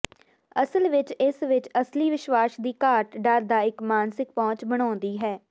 ਅਸਲ ਵਿੱਚ ਇਸ ਵਿੱਚ ਅਸਲੀ ਵਿਸ਼ਵਾਸ ਦੀ ਘਾਟ ਡਰ ਦਾ ਇੱਕ ਮਾਨਸਿਕ ਪਹੁੰਚ ਬਣਾਉਂਦੀ ਹੈ